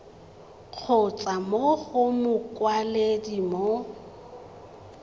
kgotsa mo go mokwaledi mo